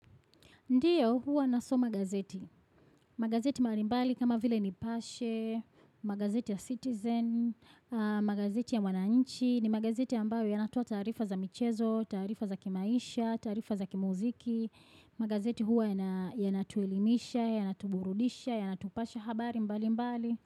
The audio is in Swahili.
Ndiyo huwa na so magazeti, magazeti mbali mbali kama vile nipashe, magazeti ya citizen, magazeti ya wananchi, ni magazeti ambayo yanatoab taarifa za michezo, taarifa za kimaisha, taarifa za kimuziki, magazeti huwa yanatuelimisha, yanatuburudisha, yanatupasha habari mbali mbali.